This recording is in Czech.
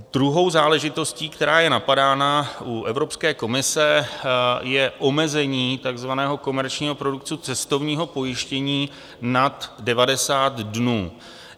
Druhou záležitostí, která je napadána u Evropské komise, je omezení takzvaného komerčního produktu cestovního pojištění nad 90 dnů.